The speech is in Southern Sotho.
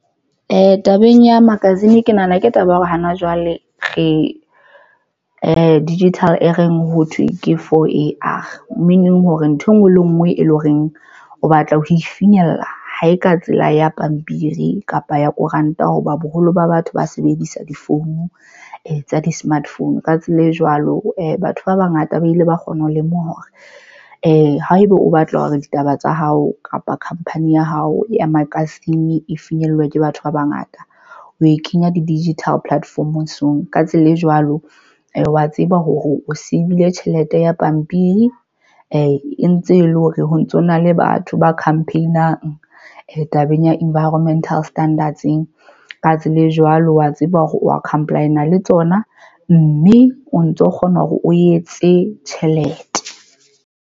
Ee, tabeng ya magazine, ke nahana ke taba ya hore hana jwale re digital e reng, ho thwe ke 4AR meaning hore ntho engwe le ngwe e leng horeng o batla ho e finyella ha e ka tsela ya pampiri kapa ya koranta. Hoba boholo ba batho ba sebedisa difounu e tsa di-smart phone. Ka tsela e jwalo batho ba bangata ba ile ba kgona ho lemoha hore haeba o batla hore ditaba tsa hao kapa khampani ya hao e magazine e finyellwe ke batho ba bangata, o e kenya di-digital platform-ong. Ka tsela e jwalo, wa tseba hore o siile tjhelete ya pampiri e ntse e le hore ho ntsona le batho ba campaign-ang tabeng ya environmental standards-eng. Ka tsela e jwalo, wa tseba hore comply-a le tsona, mme o ntso kgona hore o etse tjhelete.